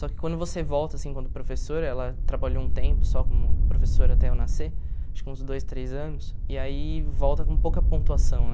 Só que quando você volta, assim, quando professora, ela trabalhou um tempo só como professora até eu nascer, acho que uns dois, três anos, e aí volta com pouca pontuação, né?